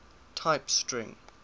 type string